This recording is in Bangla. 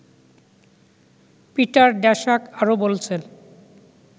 পিটার ড্যাশাক আরো বলছেন